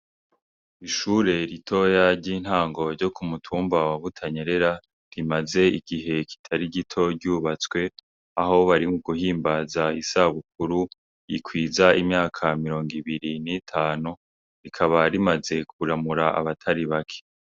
Ishure ritoya ry'intango ryo ku mutumba wa Butanyerera rimaze igihe kitari gito ryubatswe aho barimuguhimbaza isabukuru ikwiza imyaka mirongo ibiri n'itanu rikaba rimaze kuramura abatari bake.